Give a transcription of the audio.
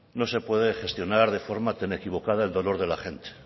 no se puede gestionar de forma tan equivocada el dolor de la gente